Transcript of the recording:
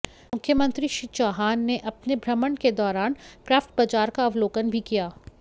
मुख्यमंत्री श्री चौहान ने अपने भ्रमण के दौरान क्रॉफ्ट बाजार का अवलोकन भी किया